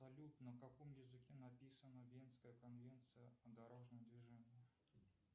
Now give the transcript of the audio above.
салют на каком языке написана венская конвенция о дорожном движении